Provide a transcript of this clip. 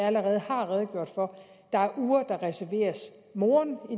allerede har redegjort for der er uger der reserveres moren og